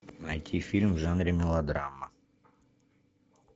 найти фильм в жанре мелодрама